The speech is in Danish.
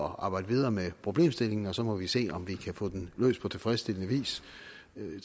at arbejde videre med problemstillingen og så må vi se om vi kan få den løst på tilfredsstillende vis